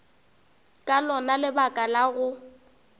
ka lona lebaka la go